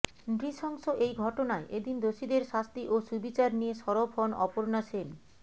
নৃশংস এই ঘটনায় এদিন দোষীদের শাস্তি ও সুবিচার নিয়ে সরব হন অপর্ণা সেন